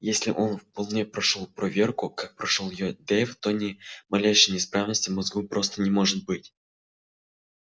если он вполне прошёл проверку как прошёл её дейв то ни малейшей неисправности в мозгу просто не может быть